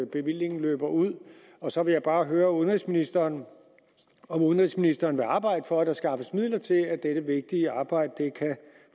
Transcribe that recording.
bevillingen løber ud og så vil jeg bare spørge udenrigsministeren om udenrigsministeren vil arbejde for at der skaffes midler til at dette vigtige arbejde kan